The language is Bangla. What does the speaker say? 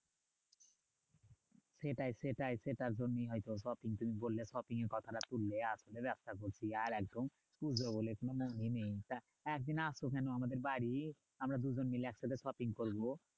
সেটাই সেটাই সেটার জন্যই হয়তো shopping তুমি করলে shopping এর কথাটা তুললে। ব্যাবসা করছি আর একদম পুজো বলে কোনো মনেই নেই। একদিন আসো কেন আমাদের বাড়ি, আমরা দুজন মিলে একসাথে shopping করবো।